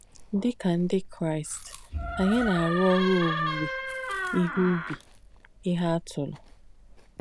Dì kà ndí Kráīst, ànyì nà-àrú òrū òwúwé íhe ùbì íhe àtùlù.